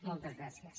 moltes gràcies